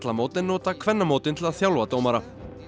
karlamót en nota kvennamót til að þjálfa dómara